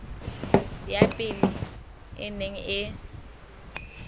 ya pele e neng e